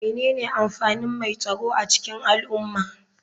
Menene amfanin mai tsaro a cikin al'umma?